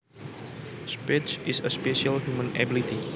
Speech is a special human ability